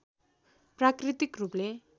प्राकृतिक रूपले